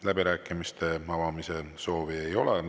Läbirääkimiste avamise soovi ei ole.